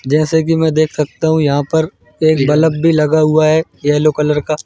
जैसे कि मैं देख सकता हूं यहां पर एक बल्ब भी लगा हुआ है येलो कलर का।